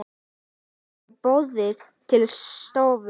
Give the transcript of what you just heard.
Daða var boðið til stofu.